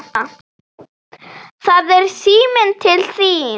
Það er síminn til þín.